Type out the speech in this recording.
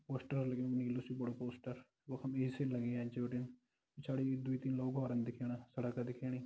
Poster लग्युं नीलू सि बड़ु पोस्टर वख्म ए.सी. लगीं एंच बिटिन पिछाड़ी दुई तीन लोग औरन दिखेणा सड़क दिखेणी।